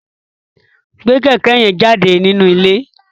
Gbé kẹ̀kẹ́ yẹn jáde nínú ilé!